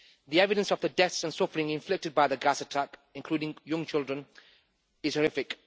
The evidence of the deaths and suffering inflicted by the gas attack, including young children, is horrific.